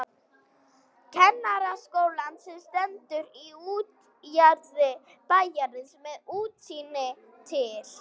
Kennaraskólann sem stendur í útjaðri bæjarins með útsýni til